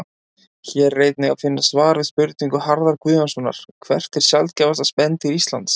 Hér er einnig að finna svar við spurningu Harðar Guðjónssonar Hvert er sjaldgæfasta spendýr Íslands?